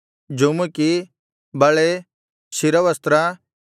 ಜುಮುಕಿ ಬಳೆ ಶಿರವಸ್ತ್ರ